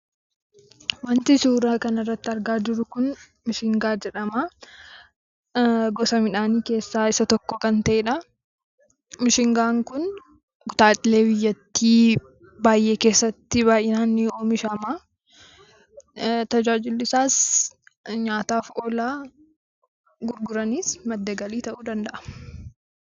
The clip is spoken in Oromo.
Wanti suuraa kanarratti argaa jirru kun mishingaa jedhama. Gosa midhaanii keessaa isa tokko kan ta'eedha. Mishingaan kun kutaalee biyyattii baay'ee keessatti baay'inaan ni oomishama. Tajaajilli isaas nyaataaf oola. Gurguraniis madda galii ta'uu danda'a.